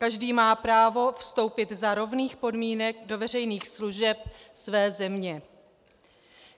Každý má právo vstoupit za rovných podmínek do veřejných služeb své země.